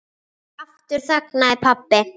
Aftur þagnaði pabbi.